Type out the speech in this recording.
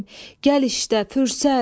Gəl işdə fürsət.